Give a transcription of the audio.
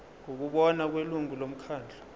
ngokubona kwelungu lomkhandlu